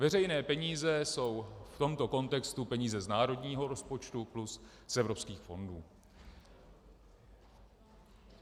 Veřejné peníze jsou v tomto kontextu peníze z národního rozpočtu plus z evropských fondů.